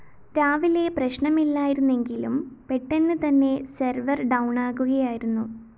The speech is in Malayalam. രാവിലെ പ്രശ്നമില്ലായിരുന്നെങ്കിലും പെട്ടെന്ന് തന്നെ സെർവർ ഡൗണാകുകയായിരുന്നു